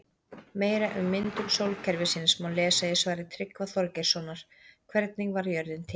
Meira um myndun sólkerfisins má lesa í svari Tryggva Þorgeirssonar Hvernig varð jörðin til?